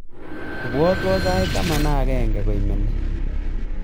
Ibwatwon sait taman ak agenge koimeni